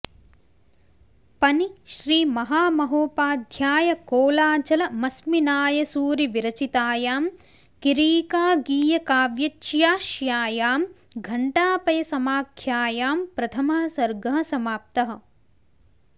पनि श्रीमहामहोपाध्यायकोलाचलमस्मिनायसूरिविरचितायां किरीका गीयकाव्यच्याश्यायां घण्टापयसमाख्यायां प्रथमः सर्गः समाप्तः